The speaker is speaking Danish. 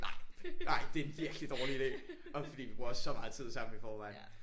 nej nej det er en virkelig dårlig ide. Og fordi vi bruger også så meget tid sammen i forvejen